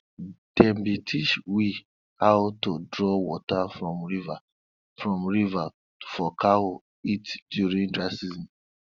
dem bin teach we how to draw water from river from river for cow eat during dry season